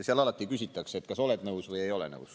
Seal alati küsitakse, kas oled nõus või ei ole nõus.